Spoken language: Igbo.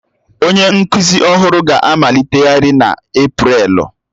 Onye nkuzi ọhụrụ ga-amaliteghachi n'Eprelu